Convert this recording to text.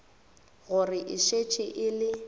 gore e šetše e le